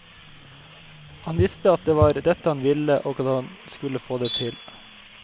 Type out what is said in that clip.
Han visste at det var dette han ville og at han skulle få det til.